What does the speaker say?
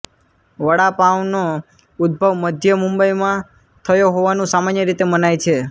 વડાપાવનો ઉદ્ભવ મધ્ય મુંબઈમાં થયો હોવાનું સામાન્ય રીતે મનાય છે